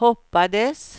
hoppades